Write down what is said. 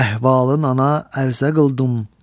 Əhvalın ona ərzə qıldım.